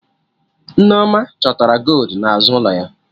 Nneoma chọtara goldu n'azụ ụlọ ya